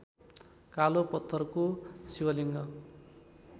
कालो पत्थरको शिवलिङ्ग